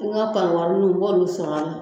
An ka pariwariw n b'olu sɔrɔ a la